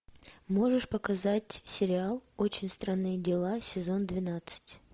можешь показать сериал очень странные дела сезон двенадцать